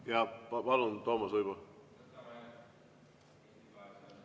Jah, palun Toomas Uibo!